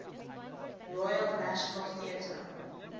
royal national theatre